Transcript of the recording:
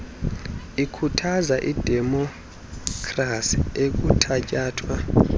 ikhuthaza idemopkhrasi ekuthatyathwa